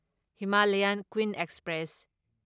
Himalayan Queen express